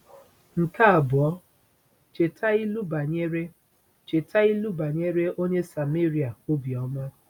Nke abụọ, cheta ilu banyere cheta ilu banyere onye Sameria obiọma.